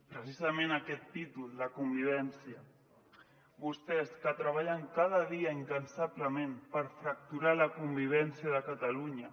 precisament aquest títol la convivència vostès que treballen cada dia incansablement per fracturar la convivència de cata·lunya